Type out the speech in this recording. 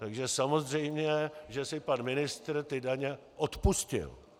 Takže samozřejmě že si pan ministr ty daně odpustil.